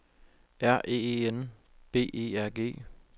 R E E N B E R G